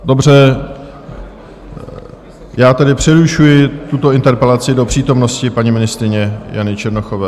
Dobře, já tedy přerušuji tuto interpelaci do přítomnosti paní ministryně Jany Černochové.